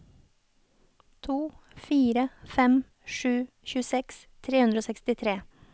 to fire fem sju tjueseks tre hundre og sekstitre